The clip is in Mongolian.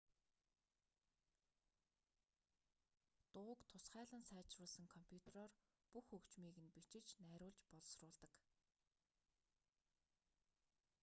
дууг тусгайлан сайжруулсан компютроор бүх хөгжмийг нь бичиж найруулж боловсруулдаг